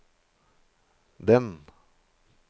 den